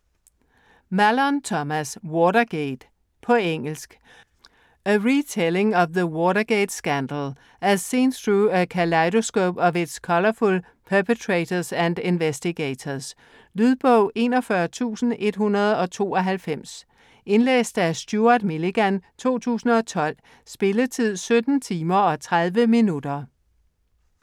Mallon, Thomas: Watergate På engelsk. A retelling of the Watergate scandal, as seen through a kaleidoscope of its colorful perpetrators and investigators. Lydbog 41192 Indlæst af Stuart Milligan, 2012. Spilletid: 17 timer, 30 minutter.